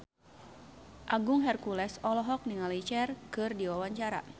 Agung Hercules olohok ningali Cher keur diwawancara